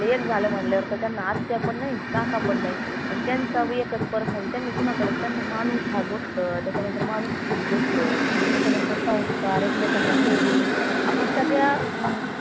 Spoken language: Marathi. एक झालं म्हणल्यावर तर त्यांना आत्या पण नाई काका पण नाई म्हनजे त्यांचा एकच परत त्यांनी कुनाकडं त्यांना मानुस हा गोष्ट त्याच्या नंतर माणुसकी ही गोष्ट त्याच्या नंतर संस्कार एकमेकांना sharing आपन सगळ्या अं